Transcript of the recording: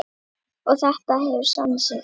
Og þetta hefur sannað sig.